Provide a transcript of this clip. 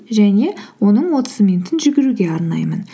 және оның отыз минутын жүгіруге арнаймын